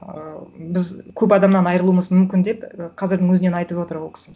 ыыы біз көп адамнан айырылуымыз мүмкін деп ііі қазірдің өзінен айтып отыр ол кісі